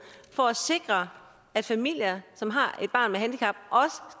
for at sikre at familier som har